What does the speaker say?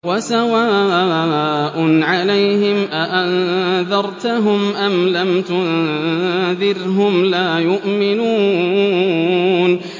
وَسَوَاءٌ عَلَيْهِمْ أَأَنذَرْتَهُمْ أَمْ لَمْ تُنذِرْهُمْ لَا يُؤْمِنُونَ